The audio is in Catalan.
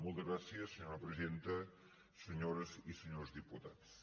moltes gràcies senyora presidenta senyores i senyors diputats